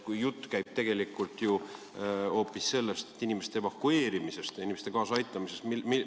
Kuid jutt käib tegelikult ju hoopis inimeste evakueerimisest, inimeste aitamisest.